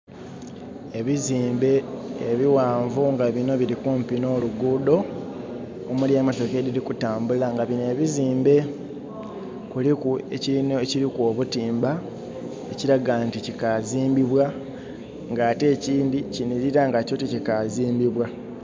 Ebizimbe ebighanvu nga bino birikumpi n'olugudho, omuli emotoka edhiri kutambula nga bino ebizimbe kuliku ekiliku obutimba ekilaga nti kikazimbibwa nga ate ekindhi kinhilira nga kyo tikikazimbibwa.